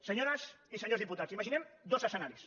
senyores i senyors diputats imaginem dos escenaris